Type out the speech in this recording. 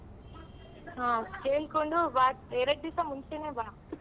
ಹ ಕೇಳ್ಕೊಂಡು ಬಾ ಎರಡ್ ದಿಸ ಮುಂಚೆನೆ ಬಾ.